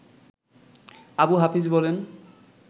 আবু হাফিজ বলেন